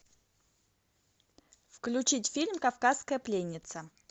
включить фильм кавказская пленница